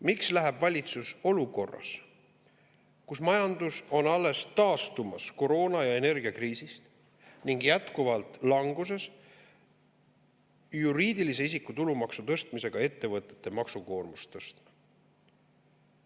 Miks läheb valitsus olukorras, kus majandus on alles taastumas koroona- ja energiakriisist ning jätkuvalt languses, juriidilise isiku tulumaksu tõstmisega ettevõtete maksukoormust tõstma?